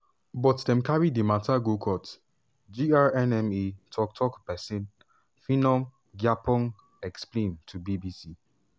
but dem carry di mata go court" grnma tok tok pesin philemon gyapong explain to bbc.